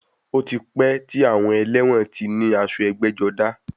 Ó ti pẹ́ tí àwọn ẹlẹ́wọ̀n ti ní aṣọ ẹgbẹ́-jọdá.